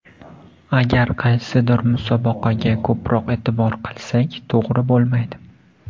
Agar qaysidir musobaqaga ko‘proq e’tibor qilsak to‘g‘ri bo‘lmaydi.